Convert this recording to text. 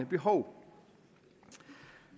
behov det